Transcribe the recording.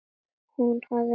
Hún hafi notað